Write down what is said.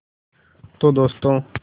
तो दोस्तों